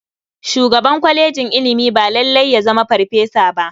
Shugaban kwalejin ilimi ba lalai ya zama farfesa ba.